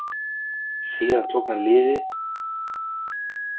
Síðan hann tók við liðinu hefur liðið spilað fimm leiki í deildinni.